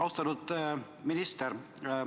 Austatud minister!